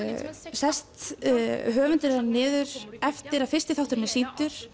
sest höfundurinn niður eftir að fyrsti þátturinn er sýndur